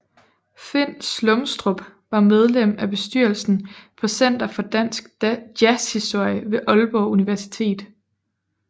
Finn Slumstrup var medlem af bestyrelsen på Center for dansk Jazzhistorie ved Ålborg Universitet